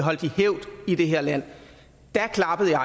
hævd i det her land da klappede jeg